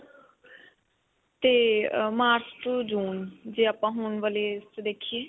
ਤੇ ਅਅ march ਤੋਂ june ਜੇ ਆਪਾਂ ਹੁਣ ਵਾਲੇ 'ਚ ਦੇਖੀਏ.